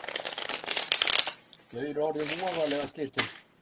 Þau eru orðin voðalega slitin